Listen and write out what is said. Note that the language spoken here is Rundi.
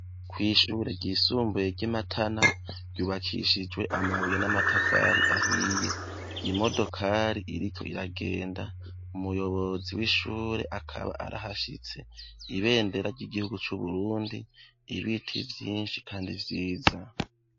kw'ishure ryisumbuye ryi Matana ryubakishijwe amabuye n'amatafari ahiye imodokari iriko iragenda umuyobozi w'ishure akaba arahashitse ibendera ry'igihugu cu Burundi ibintu vyishi kandi vyiza.